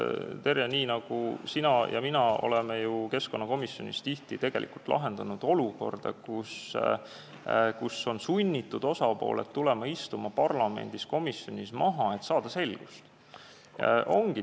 Terje, sina ja mina oleme ju keskkonnakomisjonis tihti tegelikult lahendanud olukorda, kus osapooled on olnud sunnitud tulema ja istuma parlamendikomisjonis maha, et saada selgust.